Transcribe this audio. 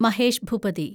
Mahesh Bhupathi